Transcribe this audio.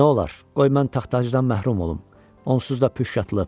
Nə olar, qoy mən taxt-tacdan məhrum olum, onsuz da püşk atılıb.